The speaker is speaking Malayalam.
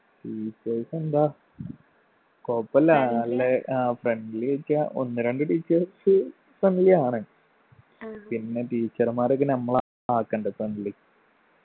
teachers എന്താ കൊഴപ്പല്ലാ നല്ലെ ആ friendly ഒക്കെയാ ഒന്ന് രണ്ട് teachers friendly ആണ് പിന്നെ teacher മ്മാരൊക്കെ നമ്മളാ ആക്കണ്ട friendly